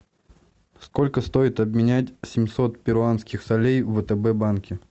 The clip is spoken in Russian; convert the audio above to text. сколько стоит обменять семьсот перуанских солей в втб банке